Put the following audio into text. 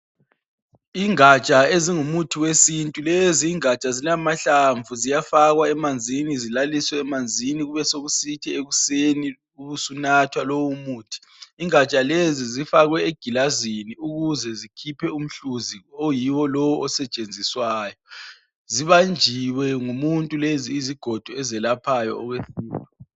Ingatsha ezingumuthi wesintu lezi ingatsha zilamahlamvu ziyafakwa emanzini zilalise emanzini kubesekusithi ekuseni ubusunatha loumuthi ingatsha lezi zifakwe egilazini ukuzezikhiphe umhluzi oyiwo lo osetshenziswayo zibanjiwe ngumuntu lezi izigodo ezelaphayo